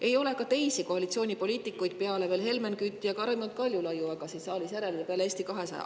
Ei ole ka teisi koalitsioonipoliitikuid peale Helmen Küti ja Raimond Kaljulaiu siin saalis järel, ja peale Eesti 200.